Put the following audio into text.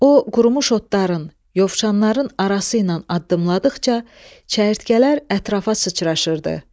O, qurumuş otların, yovşanların arası ilə addımladıqca çərtkələr ətrafa sıçraşırdı.